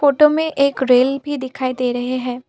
Photo में एक rail भी दिखाई दे रहे हैं।